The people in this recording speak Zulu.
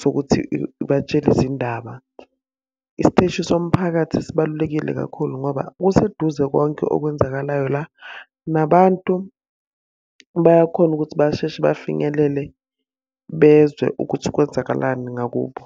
sokuthi ibatshele izindaba. Isiteshi somphakathi sibalulekile kakhulu ngoba kuseduze konke okwenzakalayo la, nabantu bayakhona ukuthi basheshe bafinyelele bezwe ukuthi kwenzakalani ngakubo.